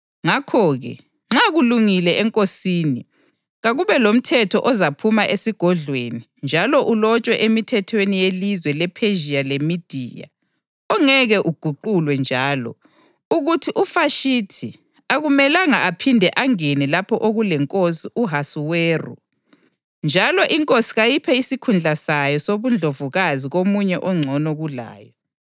Ngakho-ke, nxa kulungile enkosini, kakube lomthetho ozaphuma esigodlweni njalo ulotshwe emithethweni yelizwe lePhezhiya leMediya, ongeke uguqulwe njalo, ukuthi uVashithi akumelanga aphinde angene lapho okulenkosi u-Ahasuweru. Njalo inkosi kayiphe isikhundla sayo sobundlovukazi komunye ongcono kulayo.